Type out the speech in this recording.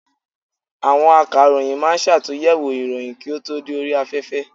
Àwọn Akàròyìn ma ń ṣàtúnyẹ̀wò ìròyìn kí ó tó dé orí afẹ́fẹ́.